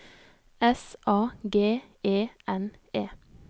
S A G E N E